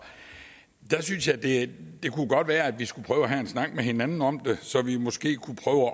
det kunne godt være at vi skulle prøve at have en snak med hinanden om det så vi måske kunne